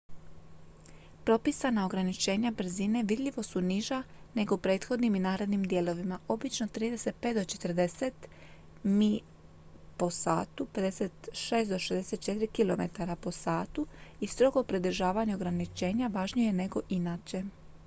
propisana ograničenja brzine vidljivo su niža nego u prethodnim i narednim dijelovima obično 35-40 mi/h 56-64 km/h i strogo pridržavanje ograničenja važnije je nego inače